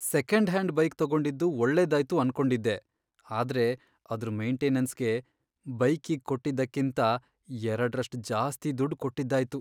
Second hand bike ತಗೊಂಡಿದ್ದು ಒಳ್ಳೇದಾಯ್ತು ಅನ್ಕೊಂಡಿದ್ದೆ, ಆದ್ರೆ ಅದ್ರ್ ಮೇಂಟೆನನ್ಸ್ಗೆ ಬೈಕಿಗ್ ಕೊಟ್ಟಿದ್ದಕ್ಕಿಂತ ಎರಡ್ರಷ್ಟ್ ಜಾಸ್ತಿ ದುಡ್ ಕೊಟ್ಟಿದ್ದಾಯ್ತು.